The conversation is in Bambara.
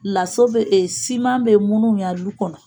Lasɔ bɛ siman bɛ minnu ya du kɔnɔ